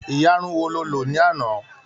iyarun wo ni o lò lánàá?